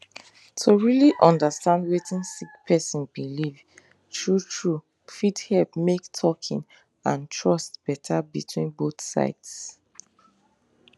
to really understand wetin sick person believe true true fit help make talking and trust better between both sides